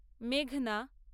মেঘনা